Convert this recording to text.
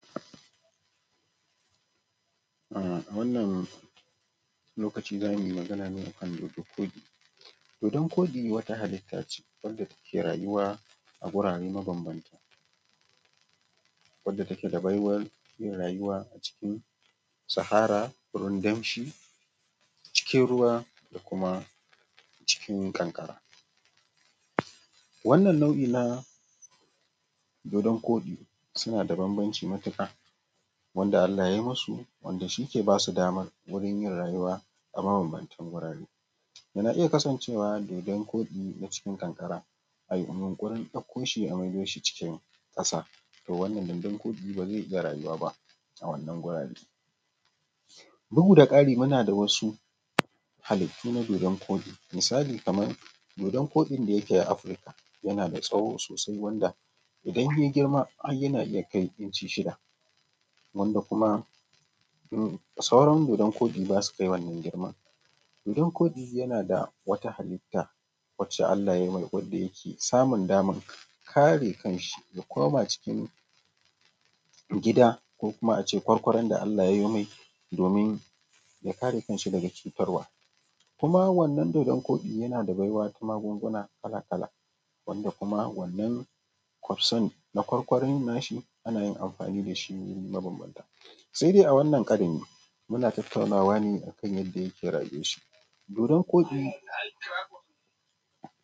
Awannan lokacin zamu yi magana ne akan dodon koɗi, dodon koɗi wani halite ce wanda suke rayuwa a gurare ma bambanta wace take da baiwar yin rayuwa a cikin sahara da kuma cikin ruwa da kuma cikin ƙanƙara, wannan nau’i na dodon koɗi suna da banbanci matuƙa wanda Allah yayi musu wanda shi ke basu daman yi wurin yin rayuwa a ma banbancin gurare, yana iya kasancewa dodon koɗi a ciki ƙanƙaran ayi yunkurin gurin dauko shi a mai doshi cikin ƙasa, to wannan dodon koɗi ba zai iya rayuwa ba a wannan gurare duhu da ƙari, muna da wasu halita na dodo koɗi, misali kamar dodon koɗin da ake a Afrika yana da tsawo sosai wanda idan yayi girma har yana iya kai inci shida wanda kuma sauran dodon koɗi basu kaiwa wannan girman, dodon koɗi yana da wata halita wacce Allah yayi mai wadda yake samun dama kare kan shi ya koma cikin gida ko kuma ace kwarkwaran da Allah yayi mai domin ya kare kan shi daga cutarwa, kuma wannan dodon koɗi yana da baiwa da magunguna kala-kala wanda kuma wannan kwasan na kwarkwaran nashi ana yin amfani da shi mabanbanta sai dai a wannan karon muna tattaunawa ne akan yadda yake yin rayuwar su dodon koɗi.